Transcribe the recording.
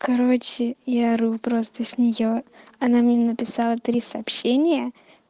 короче я ору просто с нее она мне написала три сообщения